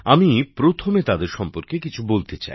আমি প্রথমে তাদের সম্পর্কে কিছু বলতে চাই